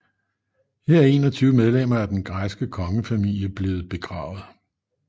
Her er 21 medlemmer af den græske kongefamilie blevet begravet